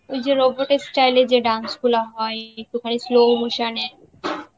ওই যে robot এর style এ যে dance গুলা হয়, কোথায় slow motion এ